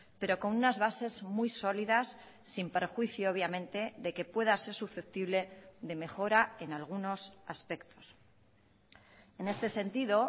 pero con unas bases muy sólidas sin perjuicio obviamente de que pueda ser susceptible de mejora en algunos aspectos en este sentido